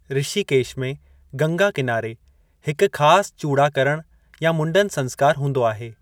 ऋषिकेश में, गंगा किनारे, हिकु खास चूड़ाकरण या मुंडन संस्कार हूंदो आहे।